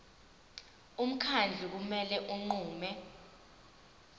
umkhandlu kumele unqume